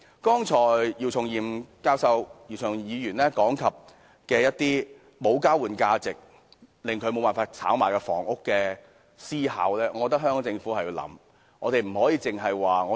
剛才姚松炎議員提到一些因無交換價值而無法炒賣的房屋，我覺得香港政府應予考慮。